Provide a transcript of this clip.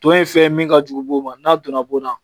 Tɔn ye fɛn min ka jugu boo ma n'a donna bo na